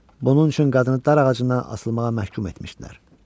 Bunun üçün qadını dar ağacından asılmağa məhkum etmişdilər.